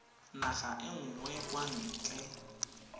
naga e nngwe kwa ntle